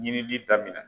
Yirili daminɛ